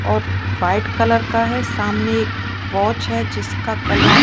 और white colour का है सामने एक वॉच है जिसका कलर --